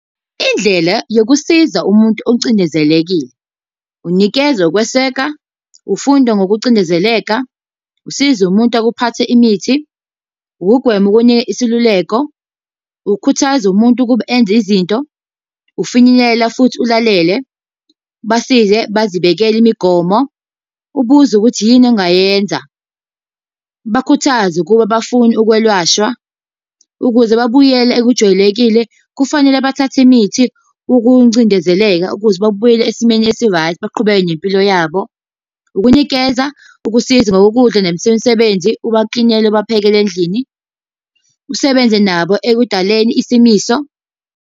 Indlela yokusiza umuntu ocindezelekile. Unikeza ukweseka, ufunda ngokucindezeleka, usiza umuntu akuphathe imithi, ukugwema ukunika isiluleko. Ukukhuthaza umuntu ukuba enza izinto, ukufinyelela futhi ulalele, ubasize bazibekele imigomo. Ubuze ukuthi yini ongayenza. Ubakhuthaze ukuba bafune ukwelashwa. Ukuze babuyele ekujwayelekile kufanele bathathe imithi ukuncindezeleka ukuze babuyele esimeni esi-right baqhubeke nempilo yabo. Ukunikeza ukusiza ngokokudla nesemisebenzi, ubaklinele, ubaphekele endlini. Usebenze nabo ekudaleni isimiso.